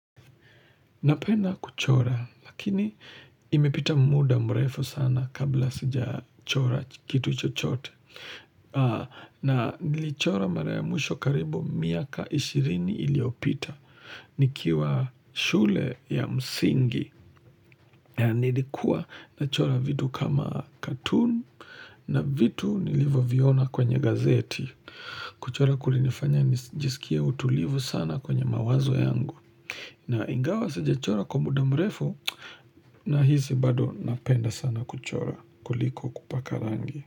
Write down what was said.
Napena kuchora, lakini imepita muda mrefu sana kabla sija chora kitu chochote. Na nilichora mara ya mwisho karibu miaka ishirini iliyopita. Nikiwa shule ya msingi. Nilikuwa na chora vitu kama katun na vitu nilivyoviona kwenye gazeti. Kuchora kulinifanya nijisikie utulivu sana kwenye mawazo yangu. Na ingawa sija chora kumbu damrefu na hizi bado napenda sana kuchora kuliko kupaka rangi.